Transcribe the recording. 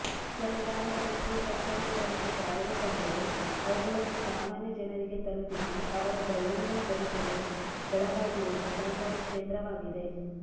ಸರಕಾರ ಎಷ್ಟೇ ಸೌಕರ್ಯಗಳನ್ನು ಜಾರಿಗೆ ತಂದರೂ ಅವುಗಳನ್ನು ಸಾಮಾನ್ಯ ಜನರಿಗೆ ತಲುಪಿಸಿ ಅವರ ದೈನಂದಿನ ಬದುಕಿಗೆ ಬೆಳಕಾಗಿರುವುದು ಸಹಕಾರಿ ಕ್ಷೇತ್ರವಾಗಿದೆ